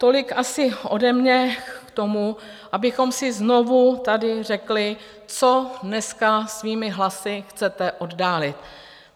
Tolik asi ode mě k tomu, abychom si znovu tady řekli, co dneska svými hlasy chcete oddálit.